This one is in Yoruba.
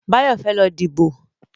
Báyọ̀ fẹ́ lọ díbò